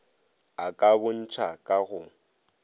a ka bontšha ka go